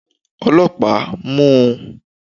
olopa, mu u!